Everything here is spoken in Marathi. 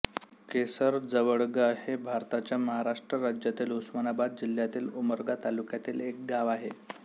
केसर जवळगा हे भारताच्या महाराष्ट्र राज्यातील उस्मानाबाद जिल्ह्यातील उमरगा तालुक्यातील एक गाव आहे